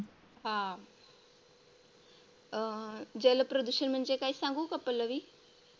हा अं जलप्रदूषण म्हणजे काय सांगू का पल्लवी?